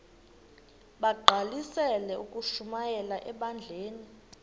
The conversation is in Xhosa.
bagqalisele ukushumayela ebandleni